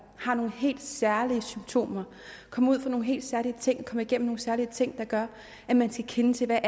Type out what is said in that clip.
har nogle helt særlige symptomer kommer ud for nogle helt særlige ting kommer igennem særlige ting der gør at man skal kende til hvad